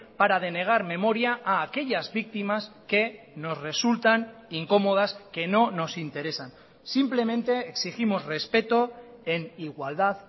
para denegar memoria a aquellas víctimas que nos resultan incómodas que no nos interesan simplemente exigimos respeto en igualdad